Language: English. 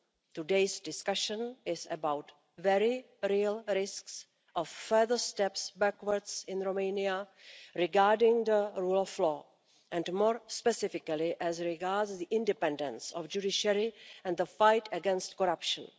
Today's discussion is about very real risks of further steps backwards in Romania regarding the rule of law and, more specifically, as regards the independence of the judiciary and the fight against corruption.